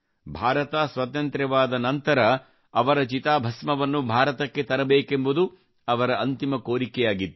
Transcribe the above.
ಭಾರತ ಸ್ವತಂತ್ರವಾದ ನಂತರ ಅವರ ಅಸ್ಥಿಯನ್ನು ಭಾರತಕ್ಕೆ ತರಬೇಕೆಂಬುದು ಅವರ ಅಂತಿಮ ಕೋರಿಕೆಯಾಗಿತ್ತು